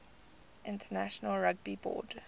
international rugby board